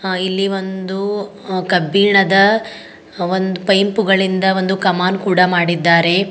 ಅ ಇಲ್ಲಿ ಒಂದು ಅ ಕಬ್ಬಿಣದ ಒಂದ್ ಪೈಂಪು ಗಳಿಂದ ಒಂದು ಕಮಾನ್ ಕೂಡ ಮಾಡಿದ್ದಾರೆ.